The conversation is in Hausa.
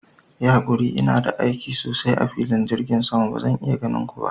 Yi hakuri, ina da aiki sosai a filin jirgin sama gobe; bazan iya ganin ku ba.